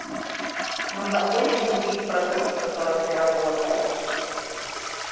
нужно очень любить продукт с которым ты работаешь